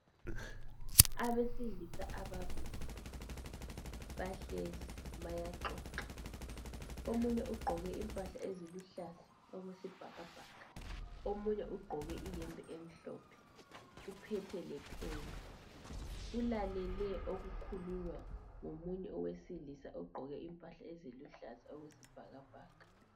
Abesilisa ababili bahlezi bayaxoxa. Omunye ugqoke impahla eziluhlaza okwesibhakabhaka, omunye ugqoke iyembe emhlophe uphethe lepheni ulalele okukhulunywa ngomunye owesilisa ogqoke impahla eziluhlaza okwesibhakabhaka.